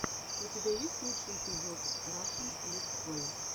у тебя есть лучший эпизод рашн летсплэй